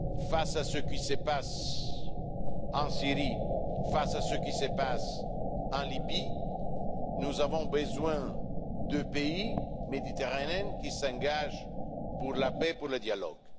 Face à ce qui se passe en Syrie et en Libye, nous avons besoin de pays méditerranéens qui s'engagent pour la paix et le dialogue.